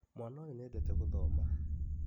Mwana ũyũ nĩendete gũthoma.